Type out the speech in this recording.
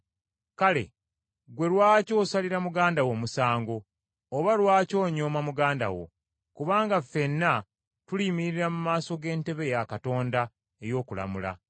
Kale ggwe lwaki osalira muganda wo omusango? Oba lwaki onyooma muganda wo? Kubanga ffenna tuliyimirira mu maaso g’entebe ya Katonda, ey’okulamula.